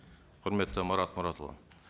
құрметті марат мұратұлы